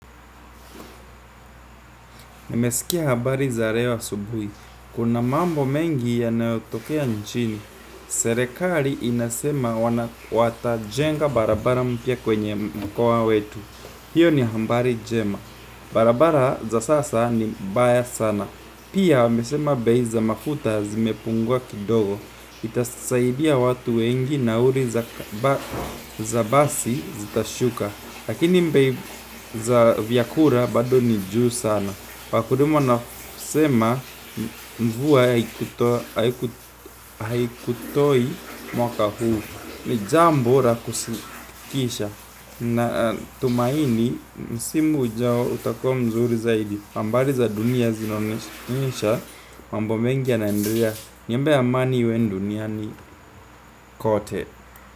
Nimesikia habari za leo subuhi kuna mambo mengi yanayotokea nchini. Serikari inasema wana wata jenga barabara mpia kwenye mkua wetu. Hiyo ni habari njema. Barabara za sasa ni mbaya sana. Pia, wamesema bei za mafuta zimepungua kidogo. Itasaidia watu wengi nauli za basi zitashuka lakini bei za vyakula bado ni juu sana wakulima wanasema mvua haikutoi mwaka huu. Ni jambo la kusikitisha, natumaini msimu ujao utakuwa mzuri zaidi. Barabara za sasa ni mbaya sana. Pia, wamesema bei za mafuta zimepungua kidogo. Itasaidia watu wengi nauli za basi zitashuka. Lakini bei za vyakula bado ni juu sana, wakulima wanasema mvua haikutoa mwaka huu.